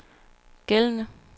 gældende